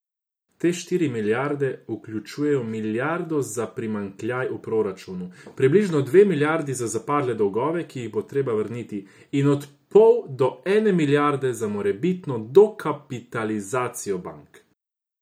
Te štiri milijarde vključujejo milijardo za primanjkljaj v proračunu, približno dve milijardi za zapadle dolgove, ki jih bo treba vrniti, in od pol do ene milijarde za morebitno dokapitalizacijo bank.